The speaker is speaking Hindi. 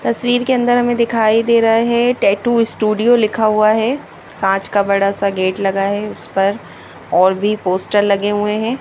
तस्वीर के अंदर हमें दिखाई दे रहा है टैटू स्टूडियो लिखा हुआ है कांच का बड़ा सा गेट लगा है उस पर और भी पोस्टर लगे हुए हैं।